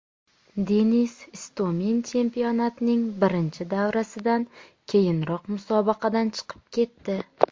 Denis Istomin chempionatning birinchi davrasidan keyinoq musobaqadan chiqib ketdi .